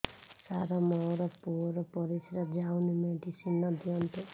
ସାର ମୋର ପୁଅର ପରିସ୍ରା ଯାଉନି ମେଡିସିନ ଦିଅନ୍ତୁ